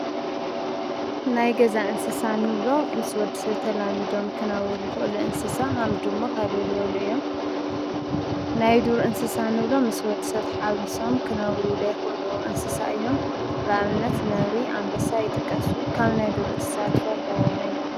ናይ ገዛ እንስሳእንብሎ ምስ ወዲ ሰብ ተላሚዶም ክነብሩ ዝኽእሉ እንስሳ ከም ድሙ፣ ከልቢ ዝበሉ እዮም ።ናይ ዱር እንስሳ ንብሎም ምስ ወዲ ሰብ ተሓዊሶም ክነብሩ ዘይኽእሉ እዮም ።ንኣብነት ነብሪ ፣ኣንበሳ ይጥቀሱ። ካብ ናይ ዱር እንስሳ ትፈርሕዎ መን እዩ?